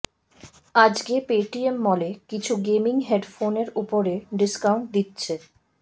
আজকে পেটিএম মলে কিছু গেমিং হেডফোনের ওপরে ডিস্কাউন্ট দিচ্ছে